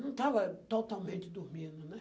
Não estava totalmente dormindo, né?